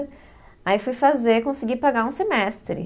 Aí fui fazer, consegui pagar um semestre.